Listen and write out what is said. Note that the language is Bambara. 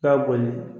K'a boli